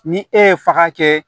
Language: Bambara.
Ni e ye faga kɛ